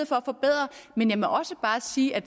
for at forbedre men jeg må også bare sige at